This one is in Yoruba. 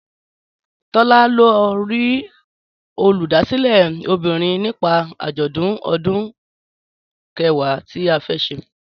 Tọ́lá lọ rí Olùdásílẹ̀ obìnrin nípa àjọ̀dún ọdún Kẹ̀wá tí a fẹ́ ṣe